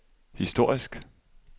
historisk